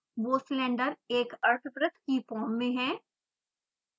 वो सिलिंडर एक अर्धवृत्त की फॉर्म में है